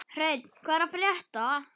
Hreinn, hvað er að frétta?